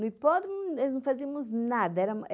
No hipódromo, nós não fazíamos nada.